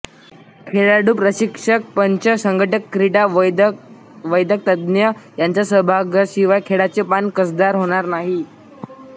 खेळाडू प्रशिक्षक पंच संघटक क्रीडा वैद्यकतज्ज्ञ यांच्या सहभागाशिवाय खेळाचे पान कसदार होणार नाही